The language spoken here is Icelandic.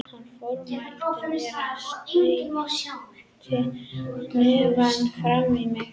Hann formælti mér og steytti hnefann framan í mig.